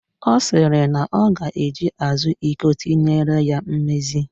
Ọ sịrị na ọ ga-eji azụ iko tinyere ya mmezi